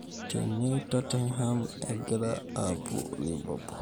Tene Tottenham egira apuo Liverpool.